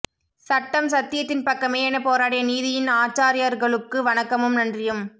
சட்டம் சத்தியத்தின் பக்கமே என போராடிய நீதியின் ஆச்சாரியார்களுக்கு வணக்கமும் நன்றியும்